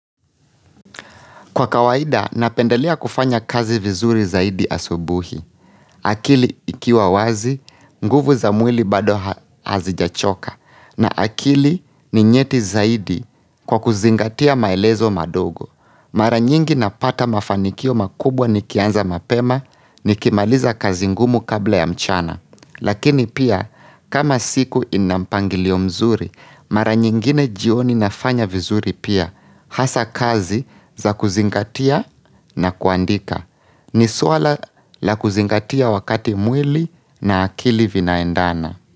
Kwa kawaida, napendelea kufanya kazi vizuri zaidi asubuhi, akili ikiwa wazi, nguvu za mwili bado hazijachoka, na akili ni nyeti zaidi kwa kuzingatia maelezo madogo. Mara nyingi napata mafanikio makubwa nikianza mapema nikimaliza kazi ngumu kabla ya mchana. Lakini pia kama siku ina mpangilio mzuri, mara nyingine jioni nafanya vizuri pia hasa kazi za kuzingatia na kuandika. Ni suala la kuzingatia wakati mwili na akili vinaendana.